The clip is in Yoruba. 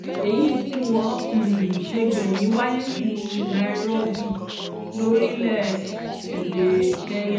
èyí tí wọ́n um ṣe gbẹ̀yìn wáyé nílùú nairobi lórílẹ̀-èdè kenya